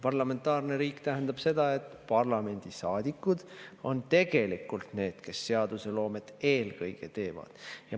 Parlamentaarne riik tähendab seda, et parlamendisaadikud on tegelikult need, kes seadusloomet eelkõige teevad.